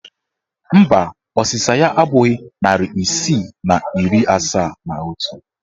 Mba, ọsịsa ya abụghị narị isii na iri asaa na otu